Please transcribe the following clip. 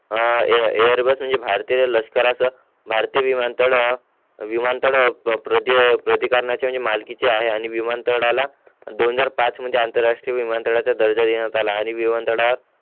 आ Airbus म्हणजे भारतीय लष्कराचं भारतीय विमानतळ हा विमान तल प्रादि प्रति कारणांची म्हणजे मालकीचे आहे आणि विमानतलाला म्हणजे दोनहजार पाच मध्ये आंतरराष्ट्रीय विमानतळाचे दल दलीनुसार झाला आणि विमानतळ हा